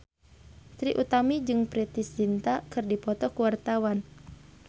Trie Utami jeung Preity Zinta keur dipoto ku wartawan